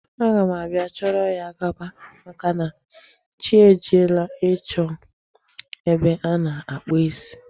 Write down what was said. Aga m abịa chọrọ ya gaba, maka na chi e jiela ịchọ ebe a na-akpụ isi.